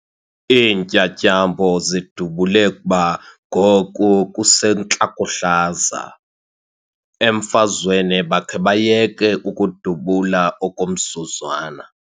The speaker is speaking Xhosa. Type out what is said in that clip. Iintyatyambo zidubule kuba ngoku kusentlakohlaza. emfazweni bakhe bayeke ukudubula okomzuzwana